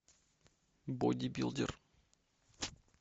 бодибилдер